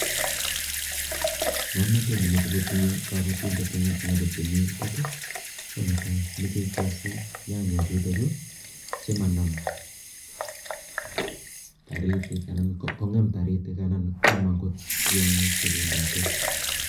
ngomnatet ne machei kotinye gabatindet eng yu anan gotemindet gonetai meche gesut nyanyek chuto chu simanam taritik anan kwam angot taritik anan go tiangik che bendate